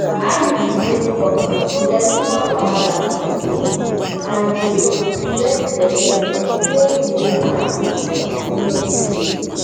iud wey be copper no get too much wahala to maintain and d dey prevent belle wey you no plan for for many-many years.